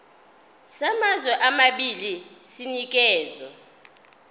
samazwe amabili sinikezwa